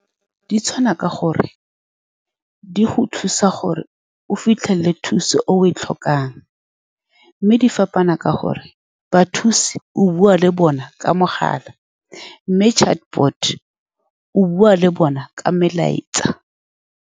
Di tshwana ka gore di go thusa gore o fitlhele thuso e o e tlhokang, mme di fapana ka gore bathusi o bua le bona ka mogala, mme chatbot-o o bua le bona ka melaetsa.